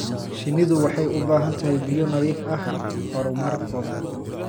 Shinnidu waxay u baahan tahay biyo nadiif ah horumarkooda.